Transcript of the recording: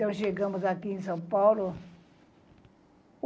Então, chegamos aqui em São Paulo.